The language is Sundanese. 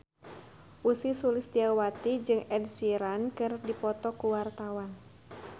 Ussy Sulistyawati jeung Ed Sheeran keur dipoto ku wartawan